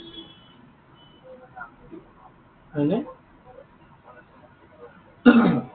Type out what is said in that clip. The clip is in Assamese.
হয় নে?